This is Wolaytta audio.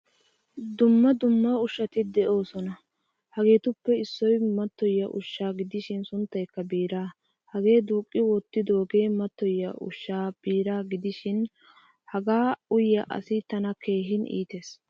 Dumma dumma ushshati de'osona. Hageetuppe issoy matoyiya ushsha gidishin sunttaykka biiraa. Hagee duqqi wottidoge matoyiyaa ushsha biiraa gidishin hagaa uyiyaa asay tana keehin iittees.